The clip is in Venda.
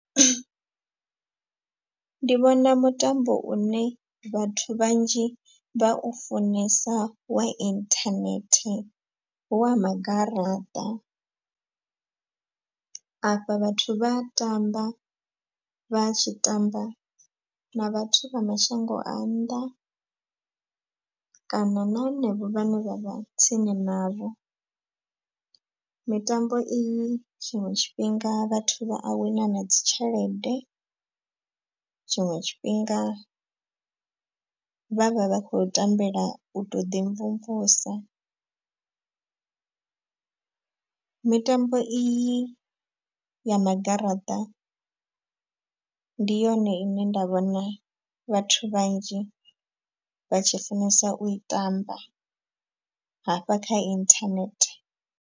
Ndi vhona mutambo une vhathu vhanzhi vha u funesa wa inthanethe hu wa magaraṱa. Afha vhathu vha tamba vha tshi tamba na vhathu vha mashango a nnḓa kana na hanevho vhane vha vha tsini navho. Mitambo iyi tshiṅwe tshifhinga vhathu vha a wina na dzi tshelede tshiṅwe tshifhinga vhavha vha khou tambela u to ḓi mvumvusa. Mitambo i i ya magaraṱa ndi yone ine nda vhona vhathu vhanzhi vha tshi funesa u i tamba hafha kha inthanethe.